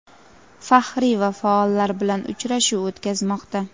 faxriy va faollar bilan uchrashuv o‘tkazmoqda.